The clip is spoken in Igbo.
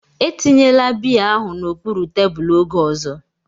Etinyela biya ahụ n'okpuru tebụl oge ọzọ!